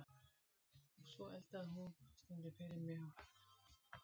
Og svo eldaði hún stundum fyrir mig uppáhaldsréttina sína frá bernskuárunum í Líma